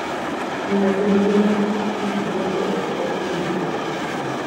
Ng'iyo gi ngima mar pikipiki miyo joot bedo gi winjruok machiegni.